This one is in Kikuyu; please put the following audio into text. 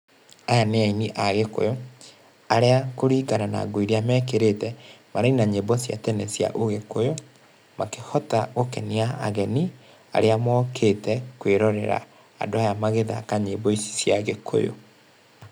Aya nĩ aini a Gĩkũyũ, arĩa kũringana na nguo iria mekĩrĩte maraina nyĩmbo cia tene cia ũgĩkũyũ makĩhota gũkenia ageni arĩa mokĩte kwĩrorera andũ aya magĩthaka nyĩmbo ici cia Gĩkũyũ.